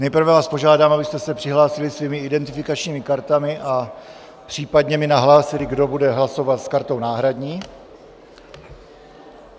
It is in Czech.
Nejprve vás požádám, abyste se přihlásili svými identifikačními kartami a případně mi nahlásili, kdo bude hlasovat s kartou náhradní.